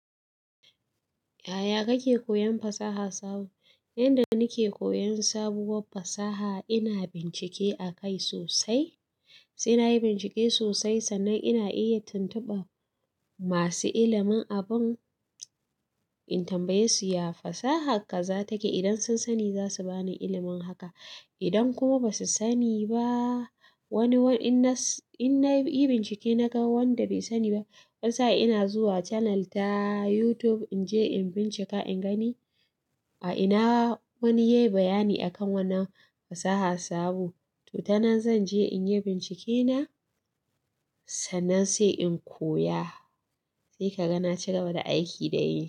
Yaya kake koyan fasaha sabo? Yanda nake koyan sabuwar fasaha ina bincike a kai sosai. Sai na yi bincike sosai, sannan ina iya tuntuɓa masu ilimin abun in tambaye su, "Ya fasaha ka zatake?" Idan sun sani za su bani ilimin haka. Idan kuma ba su sani ba wani, in na yi bincike na ga wanda bai sani ba, wanisa ina zuwa channel ta YouTube in je in bincika, in gani a ina wani ya yi bayani akan wannan fasaha sabo. To, tana zan je in yi bincike na sannan sai in koya. Sai ka ga na cigaba da aiki da daidai.